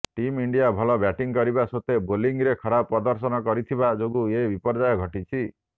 team India ଭଲ batting କରିବା ସତ୍ତ୍ୱେ ବୋଲିଂରେ ଖରାପ ପ୍ରଦର୍ଶନ କରିଥିବା ଯୋଗୁଁ ଏ ବିପର୍ଯ୍ୟୟ ଘଟିଛି